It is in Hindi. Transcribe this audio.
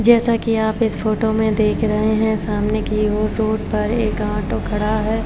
जैसा की आप इस फोटो में देख रहे है सामने की ओर रोड पर एक ऑटो खड़ा है।